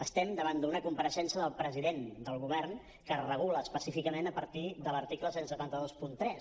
estem davant d’una compareixença del president del govern que es regula específicament a partir de l’article disset vint tres